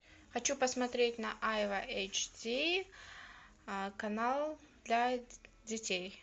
хочу посмотреть на айва эйч ди канал для детей